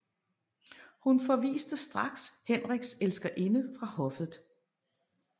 Hun forviste straks Henriks elskerinde fra hoffet